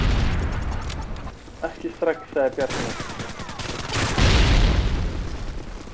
Ekki strax, sagði Bjarni.